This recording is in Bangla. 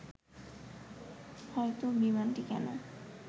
হয়তো বিমানটি কেন